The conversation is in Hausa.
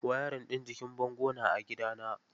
Wayarin ɗin jikin bango na a gidana.